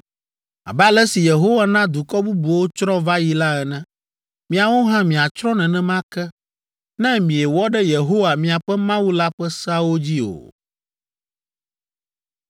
abe ale si Yehowa na dukɔ bubuwo tsrɔ̃ va yi la ene. Miawo hã miatsrɔ̃ nenema ke, ne miewɔ ɖe Yehowa, míaƒe Mawu la ƒe seawo dzi o.”